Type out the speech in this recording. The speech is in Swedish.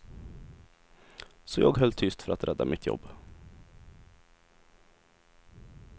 Så jag höll tyst för att rädda mitt jobb.